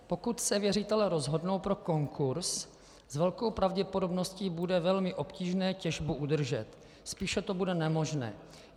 Pokud se věřitelé rozhodnou pro konkurz, s velkou pravděpodobností bude velmi obtížné těžbu udržet, spíše to bude nemožné.